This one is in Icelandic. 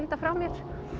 frá mér